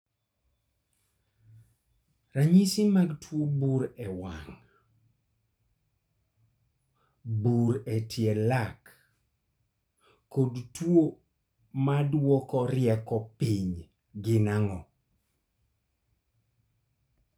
Ranyisi mag tuo bur e wang',bur e tie lak kod tuo maduoko piny rieko gin ang'o?